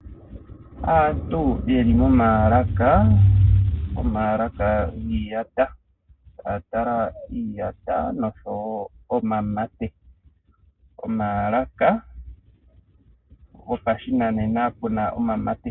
Aantu ye li momaalaka, omaalaka giiyata ya tala iiyata noshowo omamate, omaalaka go pashinanena pu na omamate.